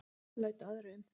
Læt aðra um það.